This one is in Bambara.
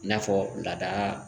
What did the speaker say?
I n'a fɔ lada